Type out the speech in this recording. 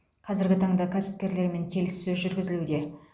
қазіргі таңда кәсіпкерлермен келіссөз жүргізілуде